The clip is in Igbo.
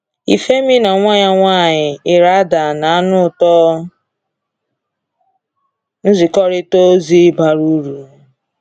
Ifemi na nwa ya nwanyị, Iraida na-anụ ụtọ nzikọrịta ozi bara uru.